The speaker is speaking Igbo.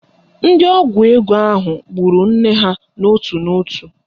Ndị ọgwụ ego ahụ gburu nne ha n'ótù n'ótù